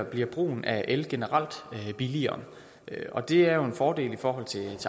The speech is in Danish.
bliver brugen af el generelt billigere og det er jo en fordel i forhold til